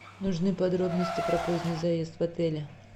нужны подробности про поздний заезд в отеле